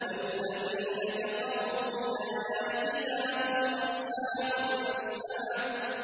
وَالَّذِينَ كَفَرُوا بِآيَاتِنَا هُمْ أَصْحَابُ الْمَشْأَمَةِ